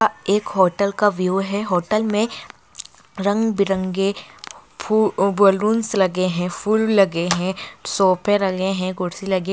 आ एक होटल का व्यू है होटल में रंग-बिरंगे फू बलूंस लगे हैं फूल लगे हैं सोफे लगे हैं कुर्सी लगी --